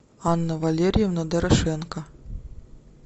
анна валерьевна дорошенко